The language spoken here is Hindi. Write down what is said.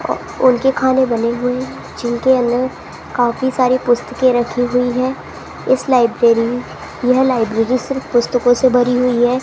उनके खाने बने हुए हैं जिनके अंदर काफी सारी पुस्तकें रखी हुई हैं इस लाइब्रेरी यह लाइब्रेरी सिर्फ पुस्तकों से भरी हुई है।